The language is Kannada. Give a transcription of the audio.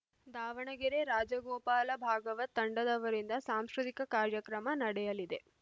ದಾವಣಗೆರೆ ರಾಜಗೋಪಾಲ ಭಾಗವತ್‌ ತಂಡದವರಿಂದ ಸಾಂಸ್ಕೃತಿಕ ಕಾರ್ಯಕ್ರಮ ನಡೆಯಲಿದೆ